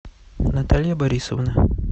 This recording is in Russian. наталья борисовна